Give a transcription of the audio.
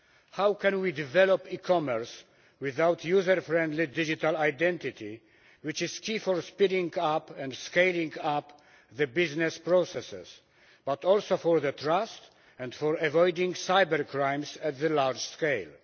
How can we develop e-commerce without user friendly digital identity, which is key for speeding up and scaling up the business processes, but also for the trust and for avoiding cybercrimes at the large scale?